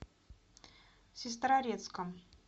сестрорецком